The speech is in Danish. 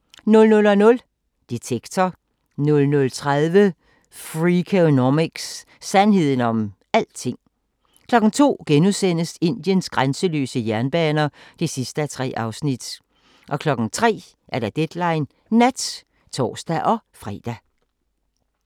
00:00: Detektor 00:30: Freakonomics – sandheden om alting 02:00: Indiens grænseløse jernbaner (3:3)* 03:00: Deadline Nat (tor-fre)